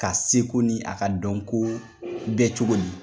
Ka seko ni a ka dɔnko bɛ cogo di?